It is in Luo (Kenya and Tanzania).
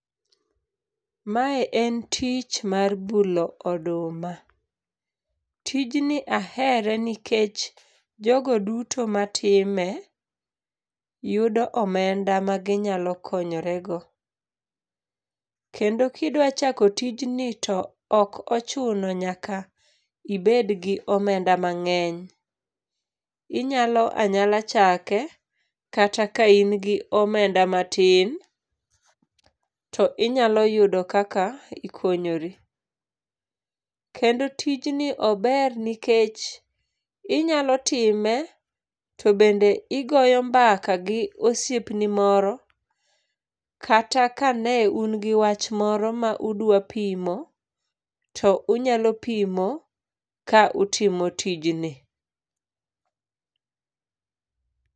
Mae en tich mar bulo oduma. Tijni ahere nikech jogo duto matime yudo omenda ma ginyalo konoyorego. Kendo kidwachako tijni ok ochuno nyaka ibed gi omenda mang'eny. Inyalo anyala chake kata ka in gi omenda matin, to inyalo yudo kaka ikonyori. Kendo tijni ober nikech inyalo time to bende igoyo mbaka gi osiepni moro kata ka ne un gi wach moro mane udwa pimo to unyalo pimo ka utimo tijni.